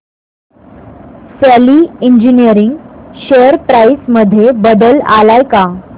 शेली engineering share price मध्ये बदल आलाय का